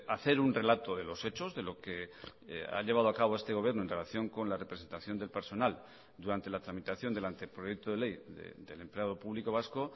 hacer un relato de los hechos de lo que ha llevado a cabo este gobierno en relación con la representación del personal durante la tramitación del anteproyecto de ley del empleado público vasco